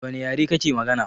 Dawane yare kake magana?